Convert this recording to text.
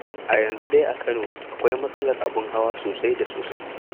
A yanzu dai a Kano akwai matsalar abin hawa sosai da sosai.